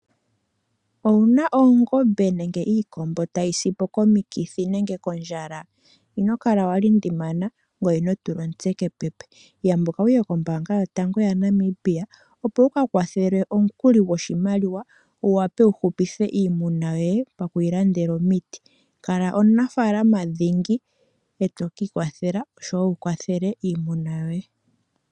Owu na oongombe nenge iikombo tayi si po komikithi nenge kondjala? Ino kala wa lindimana, ngoye ino tula omutse kepepe. Yambuka wu ye kombaanga yotango yaNamibia opo wu ka kwathelwe omukuli goshimaliwa, wu wape wu hupithe iimuna yoye paku yi landela omiti. Kala omunafalama dhingi, e to ka ikwathela oshowo wu kwathele iimuna yoye.